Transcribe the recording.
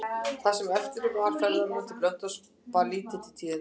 Það sem eftir var ferðarinnar til Blönduóss bar lítið til tíðinda.